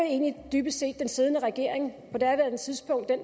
egentlig dybest set den siddende regering